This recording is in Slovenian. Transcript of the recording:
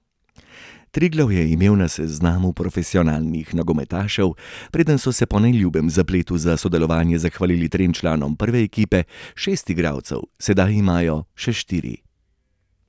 Triglav je imel na seznamu profesionalnih nogometašev, preden so se po neljubem zapletu za sodelovanje zahvalili trem članom prve ekipe, šest igralcev, sedaj imajo še štiri.